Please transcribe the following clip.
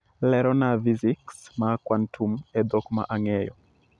Lerona fiziks ma kwantum e dhok ma ang'eyo